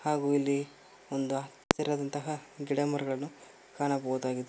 ಹಾಗು ಇಲ್ಲಿ ಒಂದು ಹಸಿರಾದಂತಹ ಗಿಡ ಮರಗಳನ್ನು ಕಾಣಬಹುದಾಗಿದೆ.